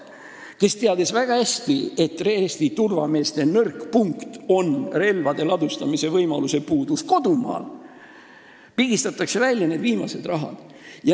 Seda teatakse väga hästi, et Eesti turvameeste nõrk punkt on relvade ladustamise võimaluse puudumine kodumaal, ja nii pigistatakse välja need viimased rahad.